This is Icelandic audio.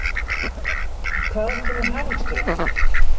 En hvaðan kemur hagvöxturinn?